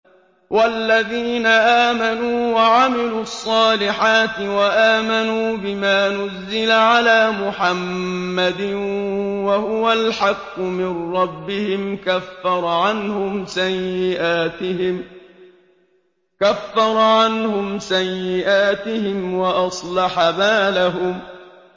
وَالَّذِينَ آمَنُوا وَعَمِلُوا الصَّالِحَاتِ وَآمَنُوا بِمَا نُزِّلَ عَلَىٰ مُحَمَّدٍ وَهُوَ الْحَقُّ مِن رَّبِّهِمْ ۙ كَفَّرَ عَنْهُمْ سَيِّئَاتِهِمْ وَأَصْلَحَ بَالَهُمْ